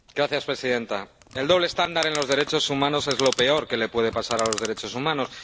Señora presidenta, el doble estándar en los derechos humanos es lo peor que le puede pasar a los derechos humanos.